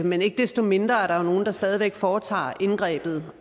men ikke desto mindre er der jo nogle der stadig væk foretager indgrebet